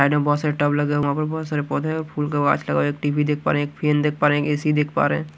Side में बहुत सारे टब लगा हुआ बहुत सारे पौधे और फूल काछ लगा एक टी_वी देख पा रहे हैं एक फैन देख पा रहे हैं ए_सी देख पा रहे हैं।